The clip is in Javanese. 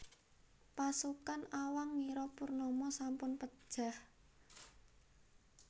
Pasukan Awang ngira Purnama sampun pejah